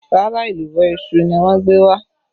Rárá, èlùbọ́ iṣu ni wọ́n gbé wá